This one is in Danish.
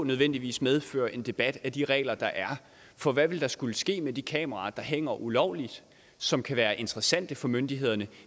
nødvendigvis medføre en debat af de regler der er for hvad vil der skulle ske med de kameraer der hænger ulovligt som kan være interessante for myndighederne